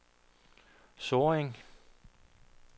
Sorring